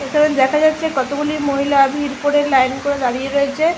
এইখানে দেখা যাচ্ছে কতগুলি মহিলা ভিড় করে লাইন করে দাঁড়িয়ে রয়েছে।